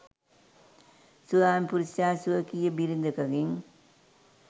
ස්වාමිපුරුෂයා ස්වකීය බිරිඳකගෙන්